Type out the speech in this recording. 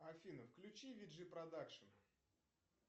афина включи виджи продакшн